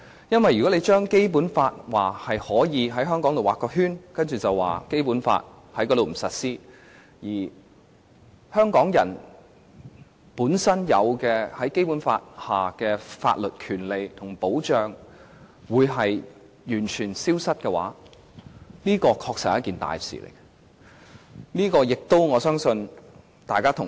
因為如果你說可以在香港劃一個圈，然後在該處不實施《基本法》，令香港人本身在《基本法》下擁有的法律權利和保障完全消失，這確實是一件大事。